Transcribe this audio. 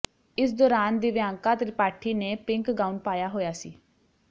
ਇਸ ਦੌਰਾਨ ਦਿਵਿਆਂਕਾ ਤ੍ਰਿਪਾਠੀ ਨੇ ਪਿੰਕ ਗਾਊਨ ਪਾਇਆ ਹੋਇਆ ਸੀ